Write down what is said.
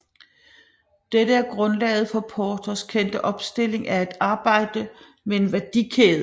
Dette er grundlaget for Porters kendte opstilling af at arbejde med en værdikæde